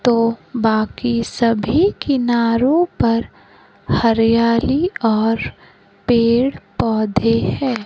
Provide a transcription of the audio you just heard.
तो बाकी सभी किनारो पर हरियाली और पेड़ पौधे है।